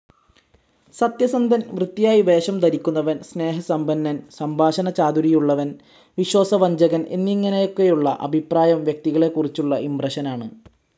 സത്യസന്ധൻ, വൃത്തിയായി വേഷം ധരിക്കുന്നവൻ, സ്നേഹസമ്പന്നൻ, സംഭാഷണചാതുരിയുള്ളവൻ, വിശ്വാസവഞ്ചകൻ എന്നിങ്ങനെയൊക്കെയുള്ള അഭിപ്രായം വ്യക്തികളെക്കുറിച്ചുള്ള ഇംപ്രഷനാണ്.